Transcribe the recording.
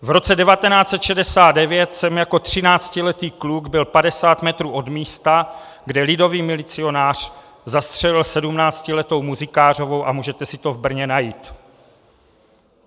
V roce 1969 jsem jako třináctiletý kluk byl padesát metrů od místa, kde lidový milicionář zastřelil sedmnáctiletou Muzikářovou, a můžete si to v Brně najít.